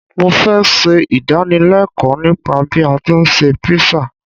Mo fẹ́ ṣe ìdánilẹ́ẹ̀kọ́ nípa bí a tí ń ṣe Písà.